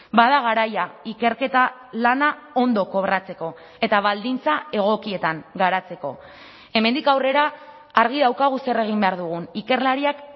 bada garaia ikerketa lana ondo kobratzeko eta baldintza egokietan garatzeko hemendik aurrera argi daukagu zer egin behar dugun ikerlariak